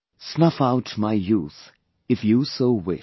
Snuff out my youth if you so wish